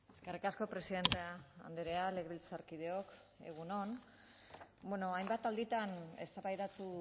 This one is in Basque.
eskerrik asko presidente andrea legebiltzarkideok egun on hainbat alditan eztabaidatu